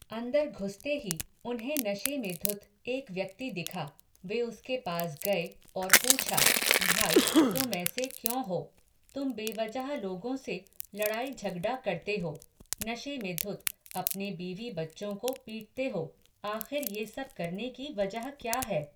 अन्दर घुसते ही, उन्हें नशे में धुत, एक व्यक्ति दिखा. वे उसके पास गए और पूछा, भाई, तुम ऐसे क्यों हो?. तुम बेवजह लोगों से लड़ाई झगडा करते हो, नशे में धुत, अपने बीवी बच्चों को पीटते हो, आख़िर ये सब करने की वजह क्या है?